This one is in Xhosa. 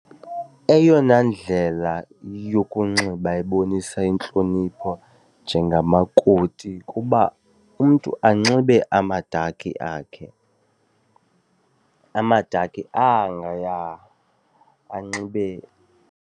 Eyona ndlela yokunxiba ebonisa intlonipho njengamakoti kuba umntu anxibe amadakhi akhe, amadakhi angaya, anxibe.